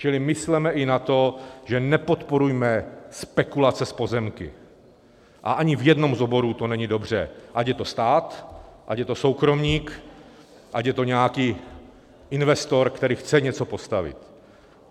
Čili mysleme i na to, že nepodporujme spekulace s pozemky, a ani v jednom z oborů to není dobře, ať je to stát, ať je to soukromník, ať je to nějaký investor, který chce něco postavit.